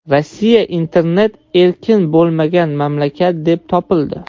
Rossiya internet erkin bo‘lmagan mamlakat deb topildi.